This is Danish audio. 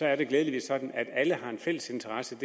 er det glædeligvis sådan at alle har en fælles interesse